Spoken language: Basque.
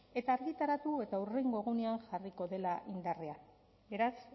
eta argitaratu eta hurrengo egunean jarriko dela indarrean beraz